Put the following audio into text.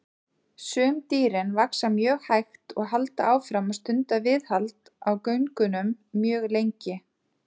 Sum dýrin vaxa mjög hægt og halda áfram að stunda viðhald á göngunum mjög lengi.